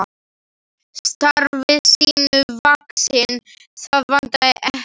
Starfi sínu vaxinn, það vantaði ekki.